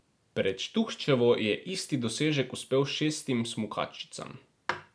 Pred Štuhčevo je isti dosežek uspel šestim smukačicam.